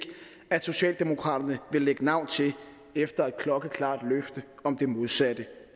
at socialdemokraterne vil lægge navn til efter et klokkeklart løfte om det modsatte